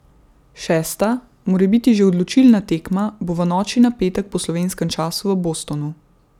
Šesta, morebiti že odločilna tekma, bo v noči na petek po slovenskem času v Bostonu.